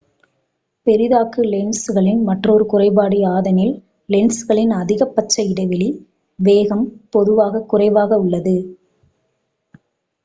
பெரிதாக்கு லென்சுகளின் மற்றொரு குறைபாடு யாதெனில் லென்சுகளின் அதிகபட்ச இடைவெளி வேகம் பொதுவாக குறைவாக உள்ளது